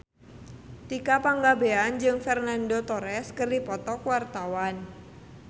Tika Pangabean jeung Fernando Torres keur dipoto ku wartawan